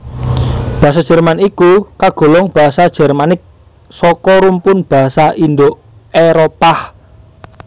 Basa Jerman iku kagolong basa Jermanik saka rumpun basa Indo Éropah